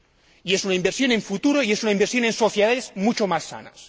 Y es una inversión en futuro y es una inversión en sociedades mucho más sanas.